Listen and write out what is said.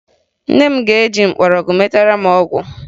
Nne m ga-eji mgbọrọgwụ metara m ọgwụ